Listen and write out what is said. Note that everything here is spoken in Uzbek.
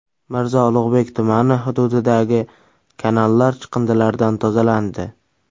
Mirzo Ulug‘bek tumani hududidagi kanallar chiqindilardan tozalandi .